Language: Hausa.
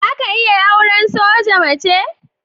Za ka iya auran soja mace?